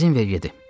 İzin ver gedim.